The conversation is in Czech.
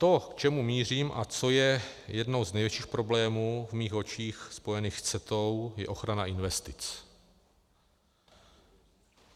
To, k čemu mířím a co je jedním z největších problémů v mých očích spojených s CETA, je ochrana investic.